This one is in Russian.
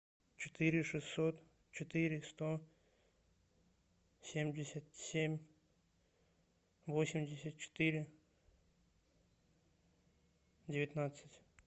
четыре шестьсот четыре сто семьдесят семь восемьдесят четыре девятнадцать